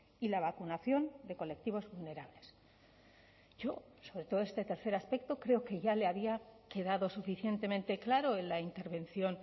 y la vacunación de colectivos vulnerables yo sobre todo este tercer aspecto creo que ya le había quedado suficientemente claro en la intervención